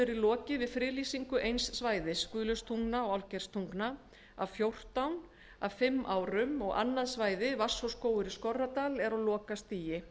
verið lokið við friðlýsingu eins svæðis guðlaugstungna til álfgeirstungna af fjórtán á fimm árum og annað svæði teigsskógur í skorradal er á lokastigi